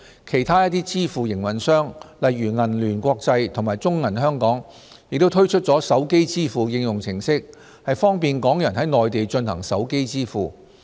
其他一些支付營運商，例如銀聯國際及中國銀行有限公司，亦推出了手機支付應用程式方便港人在內地進行手機支付。